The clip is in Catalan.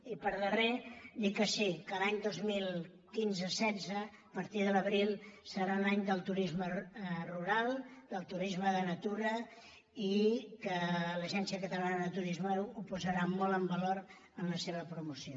i per últim dir que sí que l’any dos mil quinze·setze a partir de l’abril serà l’any del turisme rural del turisme de na·tura i que l’agència catalana de turisme ho posarà molt en valor en la seva promoció